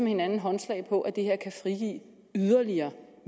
hinanden håndslag på at det her kan frigive yderligere